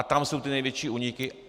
A tam jsou ty největší úniky.